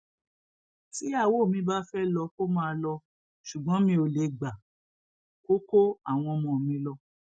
tíyàwó mi bá fẹẹ lọ kó máa lọ ṣùgbọn mi ò lè gbà kó kó àwọn ọmọ mi lọ